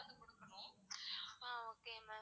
ah okay ma'am